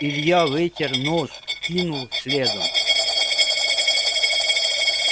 илья вытер нож кинул следом